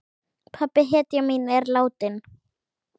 Pabbi, hetjan mín, er látinn.